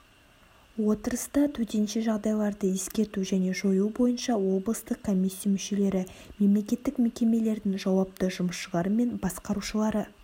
отырыста төтенше жағдайларды ескерту және жою бойынша облыстық комиссия мүшелері мемлекеттік мекемелердің жауапты жұмысшылары мен басқарушылары